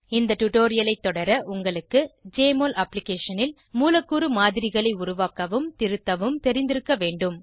இந்த டுடோரியலைத் தொடர உங்களுக்கு ஜெஎம்ஒஎல் அப்ளிகேஷனில் மூலக்கூறு மாதிரிகளை உருவாக்கவும் திருத்தவும் தெரிந்திருக்க வேண்டும்